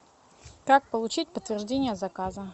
как получить подтверждение заказа